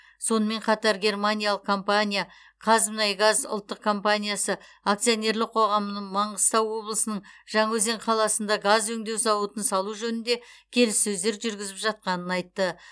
сонымен қатар германиялық компания қазмұнайгаз ұлттық компаниясы акционерлік қоғамы маңғыстау облысының жаңаөзен қаласында газ өңдеу зауытын салу жөнінде келіссөздер жүргізіп жатқанын айтты